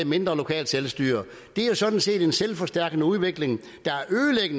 mindre lokalt selvstyre det er sådan set en selvforstærkende udvikling der